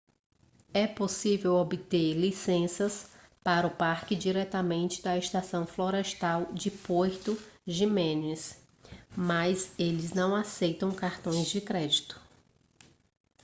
é possível obter licenças para o parque diretamente da estação florestal em puerto jiménez mas eles não aceitam cartões de crédito